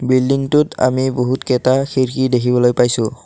বিল্ডিংটোত আমি বহুতকেইটা খিৰিকী দেখিবলৈ পাইছোঁ।